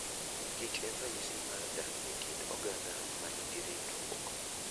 kich en ranyisi mar dak e kind oganda ma nigi ritruok.